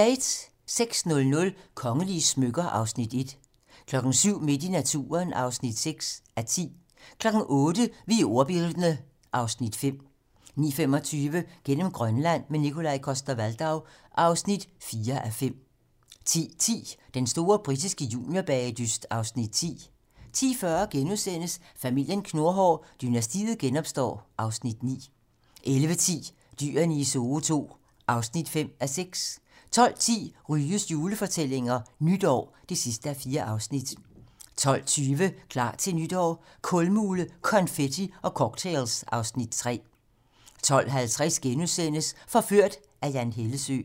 06:00: Kongelige smykker (Afs. 1) 07:00: Midt i naturen (6:10) 08:00: Vi er ordbildne (Afs. 5) 09:25: Gennem Grønland - med Nikolaj Coster-Waldau (4:5) 10:10: Den store britiske juniorbagedyst (Afs. 10) 10:40: Familien Knurhår: Dynastiet genopstår (Afs. 9)* 11:10: Dyrene i Zoo II (5:6) 12:10: Ryges julefortællinger - Nytår (4:4) 12:20: Klar til nytår - Kulmule, konfetti og cocktails (Afs. 3) 12:50: Forført - af Jan Hellesøe *